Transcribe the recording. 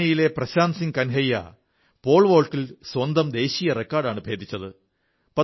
ഭിവാനിയിലെ Prashant Singh Kanhaiya pole വോൾട്ടിൽ സ്വന്തം ദേശീയ റെക്കോഡാണ് ഭേദിച്ചത്